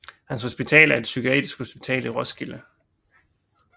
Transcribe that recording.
Hans Hospital er et psykiatrisk hospital i Roskilde